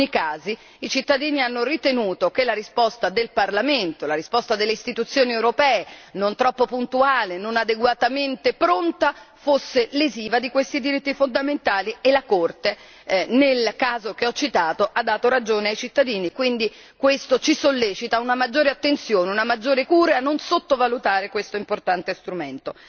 In alcuni casi i cittadini hanno ritenuto che la risposta del Parlamento europeo, la risposta delle istituzioni europee, non troppo puntuale, non adeguatamente pronta, fosse lesiva di questi diritti fondamentali e la Corte, nel caso che ho citato, ha dato ragione ai cittadini. Quindi questo ci sollecita a una maggiore attenzione, a una maggiore cura, a non sottovalutare questo importante strumento.